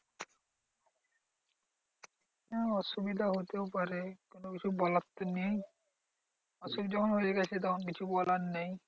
হ্যাঁ অসুবিধা হতেও পারে কোনোকিছু বলার তো নেই। অসুখ যখন হয়ে গেছে তখন কিছু বলার নেই।